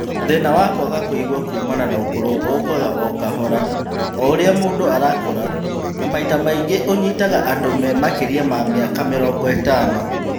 Thĩna wa kwaga kũigua kumana na ũkũrũ ũkaga ũkahora o ũrĩa mũndũ arakũra na maita maingĩ ũnyitaga andũ me makĩria ma mĩaka mĩrongo ĩtano